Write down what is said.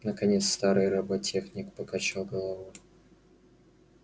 наконец старый роботехник покачал головой